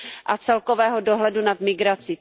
a celkového dohledu nad migrací.